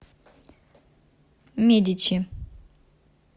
медичи